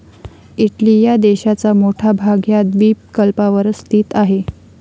Italy या देशाचा मोठा भाग ह्या द्विपकल्पावरच स्थित आहे.